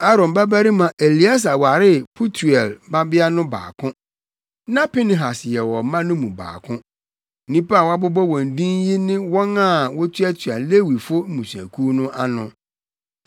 Aaron babarima Eleasar waree Putiel mmabea no baako. Na Pinehas yɛ wɔn mma no mu baako. Nnipa a wɔabobɔ wɔn din yi ne wɔn a na wotuatua Lewifo mmusuakuw no ano.